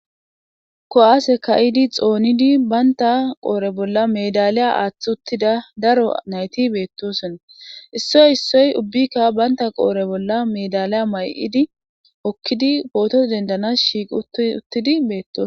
Ko'aase ka7idi xoonidi baynta qoore bolla medaliya aaththi uttida daro nayti beettoson issoy issoy ubbikka baynta qoore bolla medaliya may'idi okkidi pooto dendanas shiiq uttidi beettos.